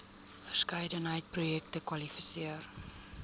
verskeidenheid projekte kwalifiseer